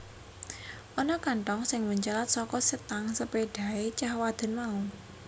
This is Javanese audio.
Ana kanthong sing mencelat saka setang sepédhahé cah wadon mau